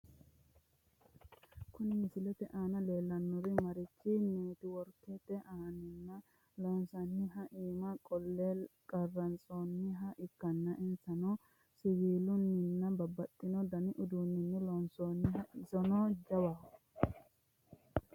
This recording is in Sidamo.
Kuni misilete aana leellanni noorichi neetiworkete anteena loonsoonniha iima qolle qarantsoonniha ikkanna, isino siwiilunninna babbaxino dani uduunninni loonsoonniho, isino jawaho.